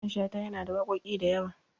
Mamman Shata yana da waƙoƙi da yawa.